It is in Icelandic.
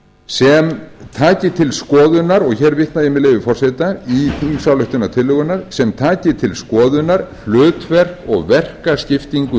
sem taki til skoðunar og hér vitna ég með leyfi forseta í þingsályktunartillöguna sem taki til skoðunar hlutverk og verkaskiptingu